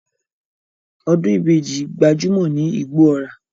Odun ibeji are very common in Igbo-Ora